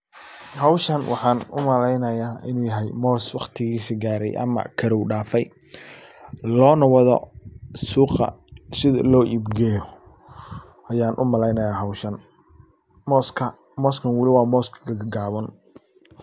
Hawshan waxaan u malaynaya moos waqtiigisi gaaray ama karow daafay loona wado suuqa sidi loo iib geeyo ayan u malaynaya hawshan mooska mooskan wali moos gagaaban.